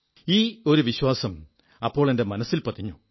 ഈ ഒരു വിശ്വാസം അപ്പോൾ എന്റെ മനസ്സിൽപതിഞ്ഞു